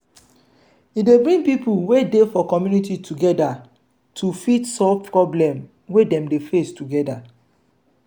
e dey bring pipo wey dey for community together to fit solve problem wey dem dey face together